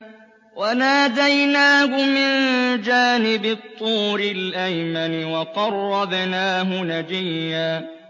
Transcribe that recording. وَنَادَيْنَاهُ مِن جَانِبِ الطُّورِ الْأَيْمَنِ وَقَرَّبْنَاهُ نَجِيًّا